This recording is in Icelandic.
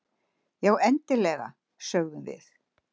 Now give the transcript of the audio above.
Já, eiginlega, sögðum við.